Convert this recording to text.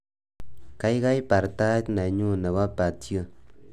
Kaikai bar tiat nenyu nebo patio